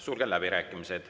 Sulgen läbirääkimised.